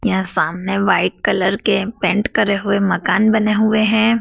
क्या सामने white colour के पेंट करे हुए मकान बने हुए हैं।